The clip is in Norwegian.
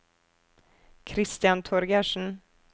Kristian Torgersen